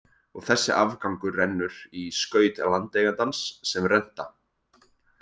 Og þessi afgangur rennur í skaut landeigandans sem renta.